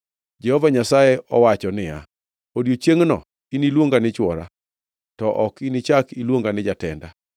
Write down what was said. Jehova Nyasaye owacho niya, “Odiechiengʼno iniluonga ni ‘chwora,’ to ok inichak iluonga ni ‘jatenda.’